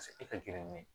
Paseke e ka gɛrɛn